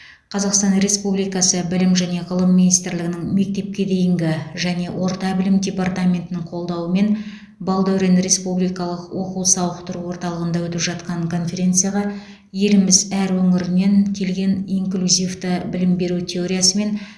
қазақстан республикасы білім және ғылым министрлігінің мектепке дейінгі және орта білім департаментінің қолдауымен балдәурен республикалық оқу сауықтыру орталығында өтіп жатқан конференцияға еліміз әр өңірінен келген инклюзивті білім беру теориясы мен